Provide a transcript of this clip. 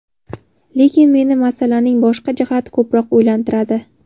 Lekin meni masalaning boshqa jihati ko‘proq o‘ylantiradi.